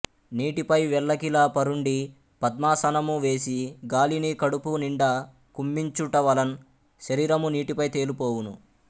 నీటిపై వెల్లకిల పరుండి పద్మాసనము వేసి గాలిని కడుపునిండా కుంభించుటవలన్ శరీరము నీటిపై తేలిపోవును